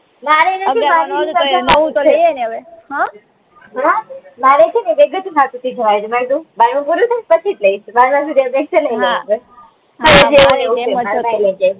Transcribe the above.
મારેય નથી હમ હમ માંરે છે ને મે કીધું બારમું પૂરું થાય પછી જ લઈશું